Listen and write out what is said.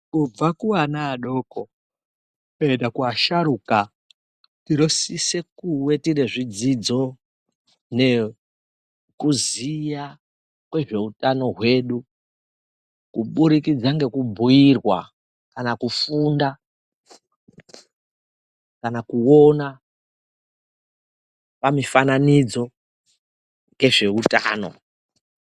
Kubva kuana adoko kuenda kuasharuka tinosise kuve tine zvidzidzo nekuziya kwezveutano hwedu. Kubudikidza ngekubhuirwa kana kufunda kana kuvona pamufananidzo ngezvehutano.